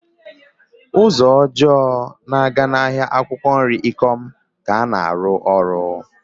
Ụzọ ọjọọ na-aga ahịa akwụkwọ nri Ikom ka ana arụ ọrụ.